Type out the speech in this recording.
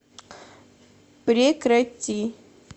прекрати